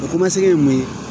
O ye mun ye